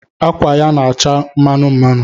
Akwa ya na-acha mmanụ mmanụ